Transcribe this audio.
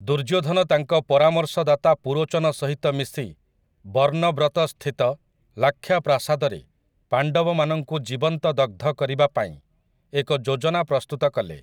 ଦୁର୍ଯ୍ୟୋଧନ ତାଙ୍କ ପରାମର୍ଶଦାତା ପୁରୋଚନ ସହିତ ମିଶି ବର୍ଣ୍ଣବ୍ରତସ୍ଥିତ ଲାକ୍ଷା ପ୍ରାସାଦରେ ପାଣ୍ଡବମାନଙ୍କୁ ଜୀବନ୍ତ ଦଗ୍ଧ କରିବା ପାଇଁ ଏକ ଯୋଜନା ପ୍ରସ୍ତୁତ କଲେ ।